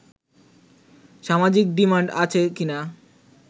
সামাজিক ডিমান্ড আছে কিনা